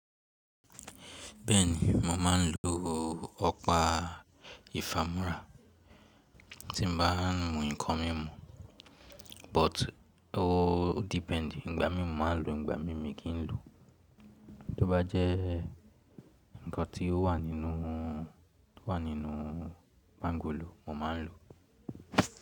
Bẹ́ẹ̀ni, mo máa ń lo ọ̀pá ìfàmúrà tí mo bá ń mu nǹkan mímu, but o depend. Ìgbà mí mọ̀ máa ń lo, ìgbà mí mi kì í lo. Tó bá jẹ́ ǹkan tí ó wà nínú, tó wà nínú pangolo mo máa ń lo.